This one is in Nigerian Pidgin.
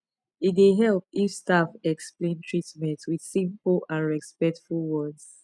e dey help if staff explain treatment with simple and respectful words